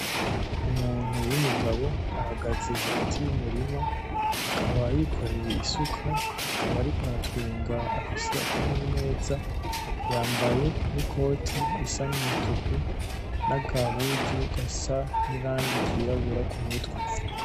Umuntu w'umugabo ahagaze hagati y'umurima akaba yikoreye isuka akaba ariko aratwenga afise akanyamuneza. Yambaye n'ikoti risa n'umutuku n'agahuzu gasa n'irangi ryirabura kumutwe.